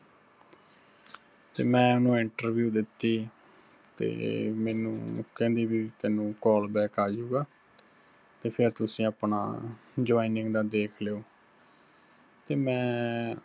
ਤੇ ਮੈਂ ਉਹਨੂੰ interview ਦਿੱਤੀ, ਤੇ ਮੈਨੂੰ ਕਹਿੰਦੀ ਬੀ ਤੈਨੂੰ callback ਆਜੁਗਾ, ਤੇ ਫਿਰ ਤੁਸੀਂ ਆਪਣਾ joining ਦਾ ਦੇਖ ਲਿਓ। ਤੇ ਮੈਂ